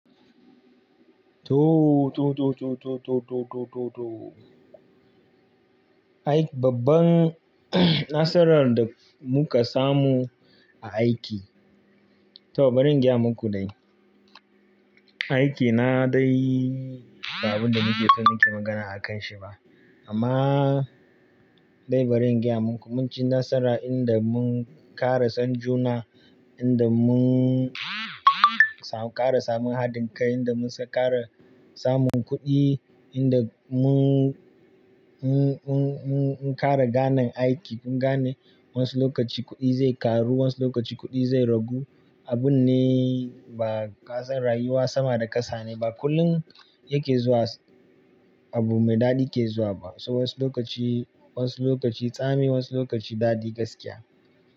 To, to, to, to, to, to, to, to, to. Ai babban nasarar da muka samu a aiki, to bari in gaya muku dai. Aiki na dai ba abin da muke son muke magana a kan shi ba. Amma dai bari in gaya muku, mun ci nasara inda mun ƙara son juna, inda mun ƙara samun haɗin kai, inda mu ka ƙara samun kuɗi, inda mun,. Mun, mun, mun, mun kare ganeaiki, mun gane wasu lokaci kuɗi zai karu, wasu lokaci kuɗi zai ragu. Abun ne ba, kasan rayuwa sama da ƙasa ne ba, kullum yake zuwa abu mai daɗi ke zuwa ba. So wasu lokaci, wasu lokaci tsami, wasu lokaci daɗi gaskiya.